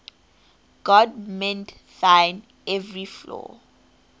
god mend thine every flaw